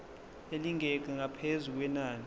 elingeqi ngaphezu kwenani